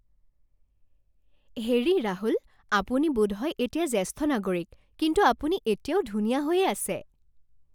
হেৰি ৰাহুল, আপুনি বোধহয় এতিয়া জ্যেষ্ঠ নাগৰিক, কিন্তু আপুনি এতিয়াও ধুনীয়া হৈয়েই আছে।